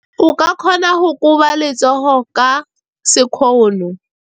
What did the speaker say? O ka kgona go koba letsogo ka sekgono.